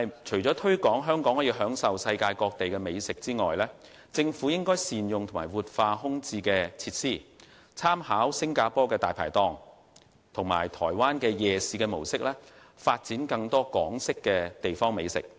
除推廣香港匯聚世界各地的美食外，政府亦應善用和活化空置設施，參考新加坡"大牌檔"及台灣夜市模式，發展更多港式地方美食。